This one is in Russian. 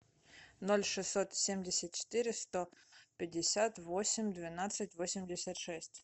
ноль шестьсот семьдесят четыре сто пятьдесят восемь двенадцать восемьдесят шесть